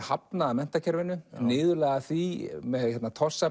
hafnað af menntakerfinu niðurlægð af því með